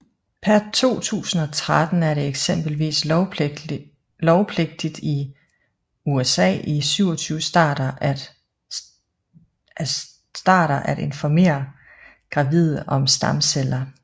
Per 2013 er det eksempelvis lovpligtigt i i USA i 27 starter at informere gravide om stamceller